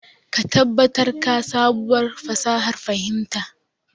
Ka tabbatar ka sabuwar fasahar kafinta.